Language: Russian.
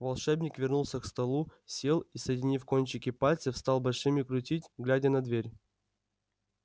волшебник вернулся к столу сел и соединив кончики пальцев стал большими крутить глядя на дверь